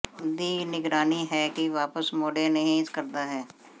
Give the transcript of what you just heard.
ਦੀ ਨਿਗਰਾਨੀ ਹੈ ਕਿ ਵਾਪਸ ਮੋੜੋ ਨਹੀ ਕਰਦਾ ਹੈ